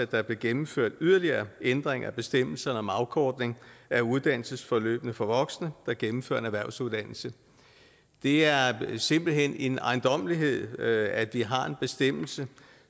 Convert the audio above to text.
der blev gennemført yderligere ændringer af bestemmelserne om afkortning af uddannelsesforløbene for voksne der gennemfører en erhvervsuddannelse det er simpelt hen en ejendommelighed at vi har en bestemmelse